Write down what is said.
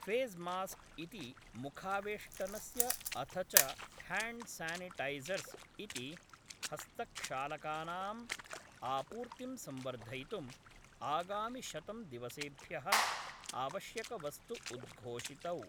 Face mask इति मुखावेष्टनस्य अथ च ह्याण्ड् सानिटैसर्स् इति हस्तक्षालकानां आपूर्तिं संवर्धयितुं आगामिशतं दिवसेभ्यः आवश्यकवस्तु उद्घोषितौ।